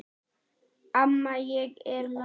Amma ég er komin